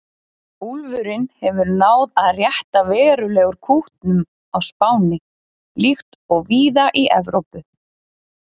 Úlfurinn hefur náð að rétta verulega úr kútnum á Spáni, líkt og víða í Evrópu.